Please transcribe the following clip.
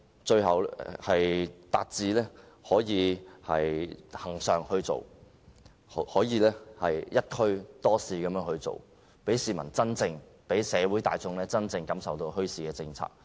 最後，我們希望墟市達致恆常化，可以"一區多市"，讓市民、社會大眾真正感受到墟市的政策。